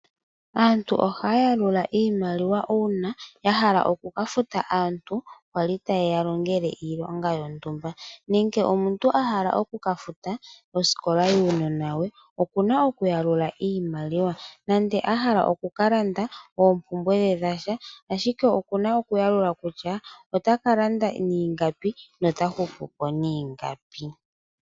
Aantu ohaya yalula iimaliwa uuna ya hala oku ka futa aantu kwali taye ya longele iilonga yontumba. Nenge omuntu a hala oku ka futa osikola yuunona we, okuna okuyalalula iimaliwa nande a hala oku ka landa oompumbwe dhe dhasha ashike okuna okuyalalula kutya ota ka landa niingapi nota hupupo niingapi.